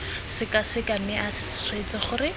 sekaseka mme a swetse gore